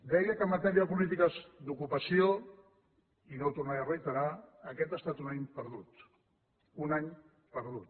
deia que en matèria de polítiques d’ocupació i no ho tornaré a reiterar aquest ha estat un any perdut un any perdut